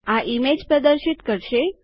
આ ઈમેજ પ્રદર્શિત કરશે